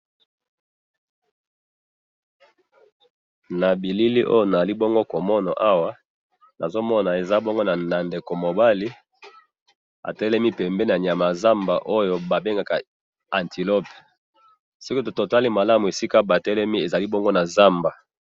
na bilili oyo nazali bongo komona awa nazo mona eza bongo na ndeko mobali atelemi pembeni ya nyama zamba oyo ba bengaka antiloppe toki totala bongo bazali bongo na zamba